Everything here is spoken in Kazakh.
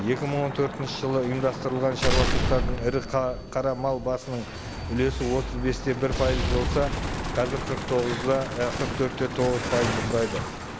екі мың он төртінші жылы ұйымдастырылған шаруашылықтардың ірі қара мал басының үлесі отыз бес те бір пайыз болса қазір қырық тоғыз да і қырық төрт те тоғыз пайызды құрайды